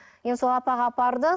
енді сол апаға апарды